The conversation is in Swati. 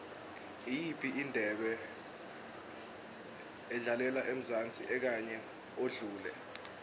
iyiphi indebe edlalelwe emzansi enyakeni odlule